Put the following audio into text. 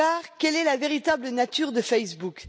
Quelle est la véritable nature de Facebook?